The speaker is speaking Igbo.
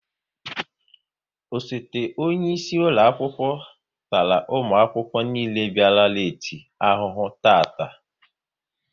Osote onyeisi ụlọakwụkwọ tara ụmụakwụkwọ niile bịara leeti ahụhụ taata